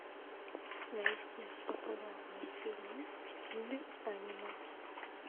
найти популярные фильмы в стиле аниме